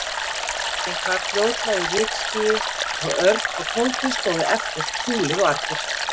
Bíllinn hvarf fljótlega í rykskýi og Örn og Tóti stóðu eftir, fúlir og argir.